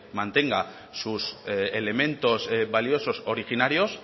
mantenga sus elementos valiosos originarios